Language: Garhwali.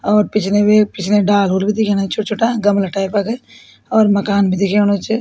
और पिछने भी पिछने डाल हूल भी दिखेणा छोटा छोटा गमला टाइप क और मकान भी दिखेणु च।